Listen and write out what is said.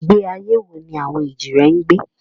Ìgbé ayé wo ni àwọn èjìrẹ́ ń gbé?